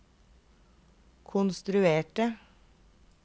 konstruerte